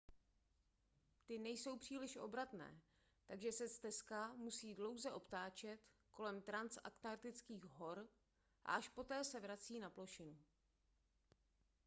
ty nejsou příliš obratné takže se stezka musí dlouze obtáčet kolem transanktartických hor a až poté se vrací na plošinu